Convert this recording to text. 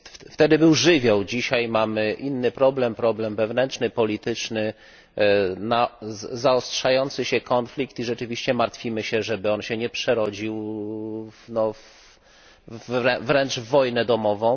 Wtedy był żywioł, dzisiaj mamy inny problem, problem wewnętrzno polityczny, czyli zaostrzający się konflikt, i rzeczywiście martwimy się, żeby on się nie przerodził wręcz w wojnę domową.